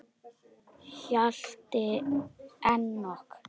Hjalti Enok.